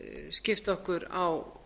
skipt okkur á